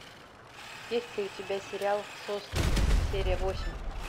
есть ли у тебя сериал сосны серия восемь